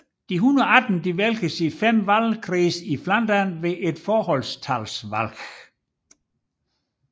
De 118 vælges i fem valgkredse i Flandern ved forholdstalsvalg